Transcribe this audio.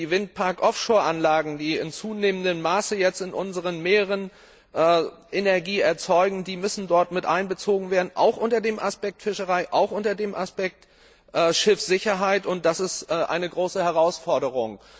Die Windpark Offshore Anlagen, die in zunehmendem Maße jetzt in unseren Meeren Energie erzeugen, müssen dort miteinbezogen werden auch unter dem Aspekt Fischerei, auch unter dem Aspekt Schiffssicherheit, und das ist eine große Herausforderung.